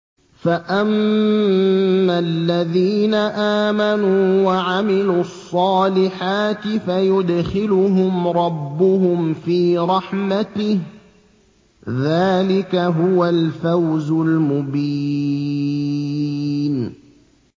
فَأَمَّا الَّذِينَ آمَنُوا وَعَمِلُوا الصَّالِحَاتِ فَيُدْخِلُهُمْ رَبُّهُمْ فِي رَحْمَتِهِ ۚ ذَٰلِكَ هُوَ الْفَوْزُ الْمُبِينُ